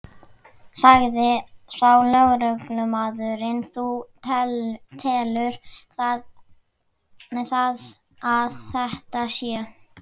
Sagði þá lögreglumaðurinn: Þú telur það að þetta sé?